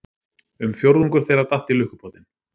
Um fjórðungur þeirra datt í lukkupottinn